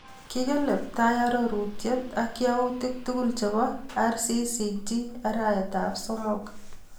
Kikeleptai arorutienyu ak yautik tukul chebo RCCG arap somok.